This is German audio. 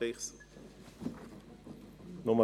Kommissionspräsident der FiKo.